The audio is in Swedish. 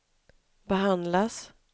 behandlas